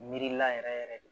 Miirila yɛrɛ yɛrɛ de